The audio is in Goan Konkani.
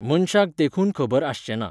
मनशाक देखून खबर आसचें ना.